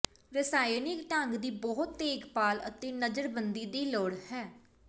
ਰਸਾਇਣਕ ਢੰਗ ਦੀ ਬਹੁਤ ਦੇਖਭਾਲ ਅਤੇ ਨਜ਼ਰਬੰਦੀ ਦੀ ਲੋੜ ਹੈ